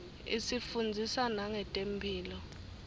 isifundzisa nangetemphilo